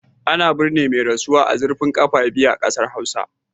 Ana bizinar mai rasuwa a zurfin kafa biyu a kasar Hausawa